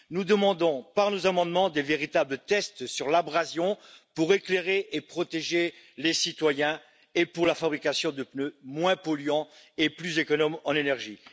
Par nos amendements, nous demandons de véritables tests sur l'abrasion, pour éclairer et protéger les citoyens, et pour la fabrication de pneus moins polluants et plus économes en énergie.